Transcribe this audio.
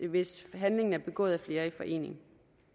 hvis handlinger er begået af flere i forening